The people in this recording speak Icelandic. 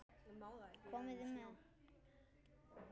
Komiði með!